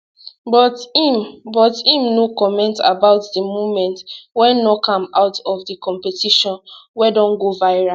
but im but im no comment about di moment wey knock am out of di competition wey don go viral